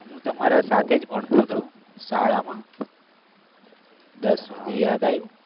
હું તમારા સાથે જ ભણતો હતો શાળામાં. અભી યાદ આયુ?